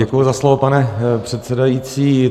Děkuji za slovo, pane předsedající.